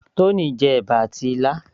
Tony jẹ ẹ̀bà àti ilá